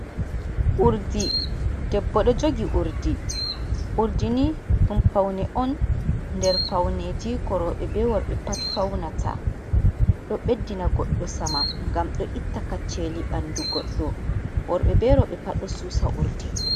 Urdi: Debbo ɗo jogi urdi, urdi ni ɗum faune on nder fauneji ko roɓe be worɓe pat faunata. Ɗo ɓeddina goɗɗo saman ngam ɗo itta kacceli ɓandu goɗɗo. Worɓe be roɓe pat ɗo susa urdi.